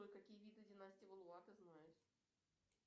джой какие виды династия валуа ты знаешь